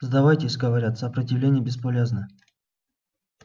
сдавайтесь говорят сопротивление бесполезно